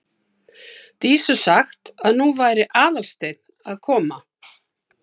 Dísu sagt að nú væri Aðalsteinn að koma.